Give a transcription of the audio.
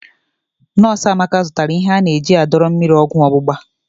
Nọs Amaka zụtara ihe ana-eji adọrọ mmiri ọgwọ ọgbụgba.